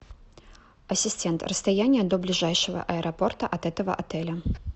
ассистент расстояние до ближайшего аэропорта от этого отеля